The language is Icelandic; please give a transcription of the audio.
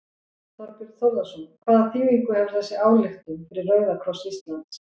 Þorbjörn Þórðarson: Hvaða þýðingu hefur þessi ályktun fyrir Rauða kross Íslands?